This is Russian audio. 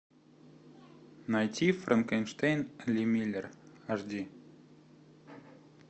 найти франкенштейн ли миллер аш ди